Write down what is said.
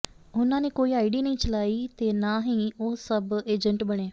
ਉਨ੍ਹਾਂ ਨੇ ਕੋਈ ਆਈਡੀ ਨਹੀਂ ਚਲਾਈ ਤੇ ਨਾ ਹੀ ਉਹ ਸਬ ਏਜੰਟ ਬਣੇ